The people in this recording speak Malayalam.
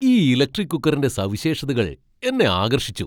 ഈ ഇലക്ട്രിക് കുക്കറിന്റെ സവിശേഷതകൾ എന്നെ ആകർഷിച്ചു!